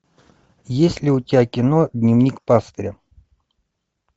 есть ли у тебя кино дневник пастыря